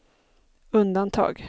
undantag